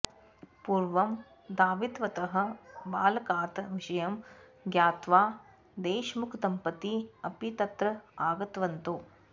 पूर्वं धावितवतः बालकात् विषयं ज्ञात्वा देशमुखदम्पती अपि तत्र आगतवन्तौ